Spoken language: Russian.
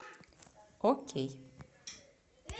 окей